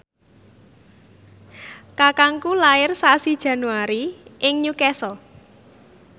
kakangku lair sasi Januari ing Newcastle